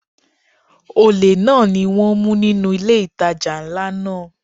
Olè náà ni wón mú nínú ilé ìtajà ńlá náà.